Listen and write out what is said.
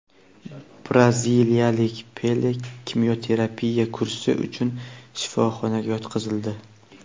braziliyalik Pele kimyoterapiya kursi uchun shifoxonaga yotqizildi.